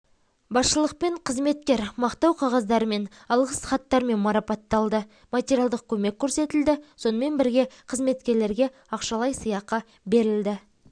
басшылықпен қызметкер мақтау қағаздарымен алғыс хаттармен марапатталды материалдық көмек көрсетілді сонымен бірге қызметкерлерге ақшалай сыйақы беріледі